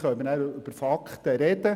Dann können wir über Fakten reden.